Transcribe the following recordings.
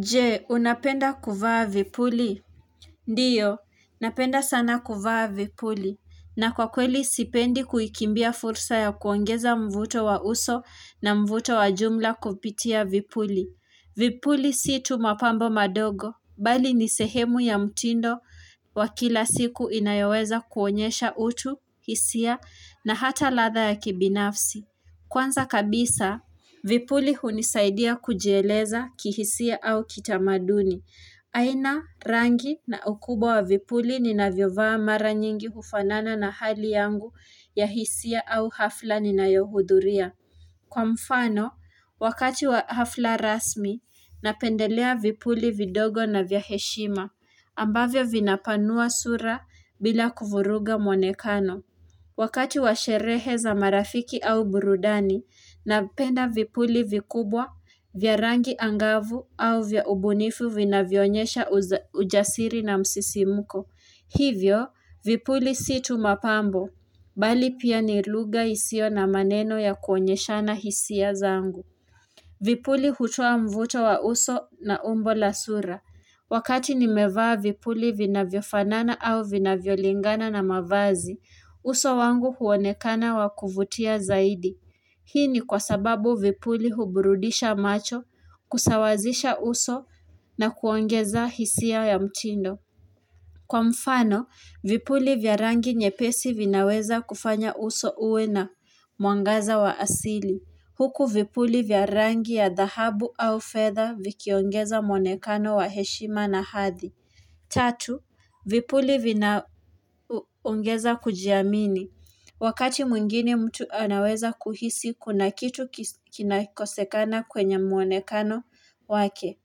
Je, unapenda kuvaa vipuli? Ndiyo, napenda sana kuvaa vipuli. Na kwa kweli sipendi kuikimbia fursa ya kuongeza mvuto wa uso na mvuto wa jumla kupitia vipuli. Vipuli si tu mapambo madogo. Bali ni sehemu ya mtindo wa kila siku inayoweza kuonyesha utu, hisia na hata ladha ya kibinafsi. Kwanza kabisa, vipuli hunisaidia kujieleza kihisia au kitamaduni. Haina rangi na ukubwa wa vipuli ninavyovaa mara nyingi hufanana na hali yangu ya hisia au hafla ninayohudhuria. Kwa mfano, wakati wa hafla rasmi, napendelea vipuli vidogo na vya heshima, ambavyo vinapanua sura bila kuvuruga mwonekano. Wakati wa sherehe za marafiki au burudani, napenda vipuli vikubwa, vya rangi angavu au vya ubunifu vinavyo onyesha ujasiri na msisimko. Hivyo, vipuli si tu mapambo, bali pia ni lugha isio na maneno ya kuonyeshana hisia zangu. Vipuli hutoa mvuto wa uso na umbo la sura. Wakati nimevaa vipuli vinavyofanana au vinavyolingana na mavazi, uso wangu huonekana wa kuvutia zaidi. Hii ni kwa sababu vipuli huburudisha macho, kusawazisha uso na kuongeza hisia ya mtindo. Kwa mfano, vipuli vya rangi nyepesi vinaweza kufanya uso uwe na mwangaza wa asili. Huku vipuli vya rangi ya dhahabu au fedha vikiongeza mwonekano wa heshima na hadhi. Tatu, vipuli vinaongeza kujiamini. Wakati mwingine mtu anaweza kuhisi, kuna kitu kinakosekana kwenye mwonekano wake.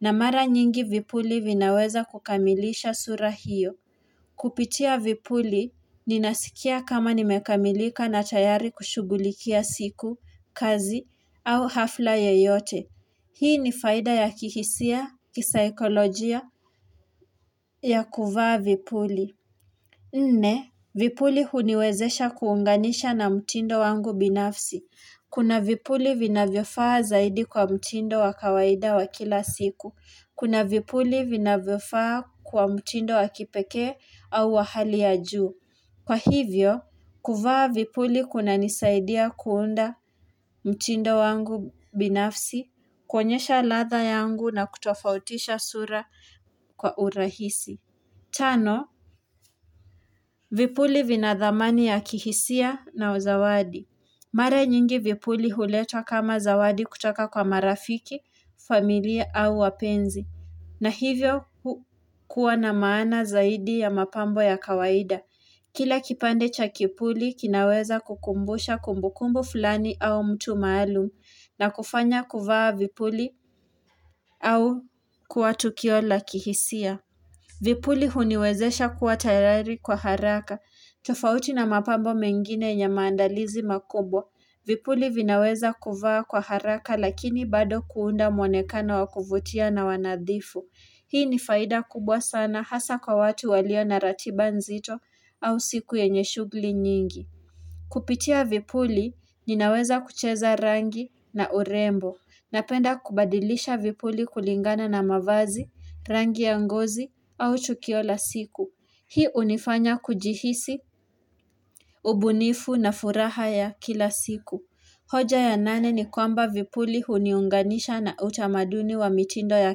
Na mara nyingi vipuli vinaweza kukamilisha sura hiyo. Kupitia vipuli, ninasikia kama nimekamilika na tayari kushughulikia siku, kazi au hafla yoyote. Hii ni faida ya kihisia, kisaikolojia, ya kuvaa vipuli. Nne, vipuli huniwezesha kuunganisha na mtindo wangu binafsi. Kuna vipuli vinavyofaa zaidi kwa mtindo wa kawaida wa kila siku. Kuna vipuli vinavyofaa kwa mtindo wa kipekee au wa hali ya juu. Kwa hivyo, kuvaa vipuli kunanisaidia kuunda mtindo wangu binafsi. Kuonyesha ladha yangu na kutofautisha sura kwa urahisi. Tano, vipuli vinadhamani ya kihisia na uzawadi. Mara nyingi vipuli huletwa kama zawadi kutoka kwa marafiki, familia au wapenzi. Na hivyo kuwa na maana zaidi ya mapambo ya kawaida. Kila kipande cha kipuli kinaweza kukumbusha kumbukumbu fulani au mtu maalum na kufanya kuvaa vipuli au kuwa tukio la kihisia. Vipuli huniwezesha kuwa tayari kwa haraka. Tofauti na mapambo mengine yenye maandalizi makubwa. Vipuli vinaweza kuvaa kwa haraka lakini bado kuunda mwonekana wa kuvutia na wa nadhifu. Hii ni faida kubwa sana hasa kwa watu walio na ratiba nzito au siku yenye shughuli nyingi. Kupitia vipuli ninaweza kucheza rangi na urembo. Napenda kubadilisha vipuli kulingana na mavazi, rangi ya ngozi au tukio la siku. Hii hunifanya kujihisi ubunifu na furaha ya kila siku. Hoja ya nane ni kwamba vipuli huniunganisha na utamaduni wa mitindo ya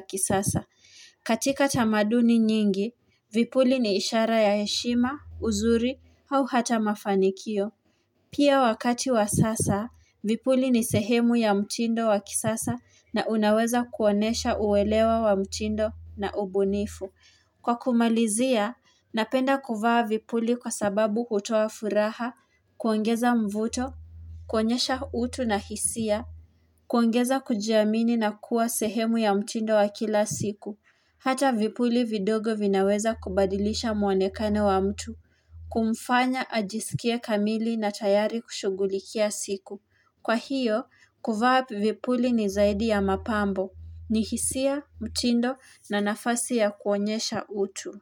kisasa. Katika tamaduni nyingi, vipuli ni ishara ya heshima, uzuri au hata mafanikio. Pia wakati wa sasa, vipuli ni sehemu ya mtindo wa kisasa na unaweza kuonyesha uelewa wa mtindo na ubunifu. Kwa kumalizia, napenda kuvaa vipuli kwa sababu hutoa furaha, kuongeza mvuto, kuonyesha utu na hisia, kuongeza kujiamini na kuwa sehemu ya mtindo wa kila siku. Hata vipuli vidogo vinaweza kubadilisha mwonekano wa mtu, kumfanya ajisikie kamili na tayari kushughulikia siku. Kwa hiyo, kuvaa vipuli ni zaidi ya mapambo, ni hisia, mtindo na nafasi ya kuonyesha utu.